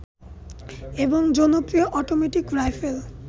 এবং জনপ্রিয় automatic rifle